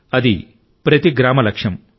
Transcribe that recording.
అది ప్రతి గ్రామ లక్ష్యం